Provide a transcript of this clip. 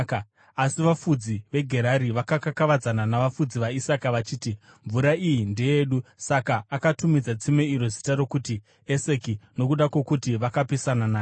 Asi vafudzi veGerari vakakakavadzana navafudzi vaIsaka vachiti, “Mvura iyi ndeyedu!” Saka akatumidza tsime iro zita rokuti Eseki, nokuda kwokuti vakapesana naye.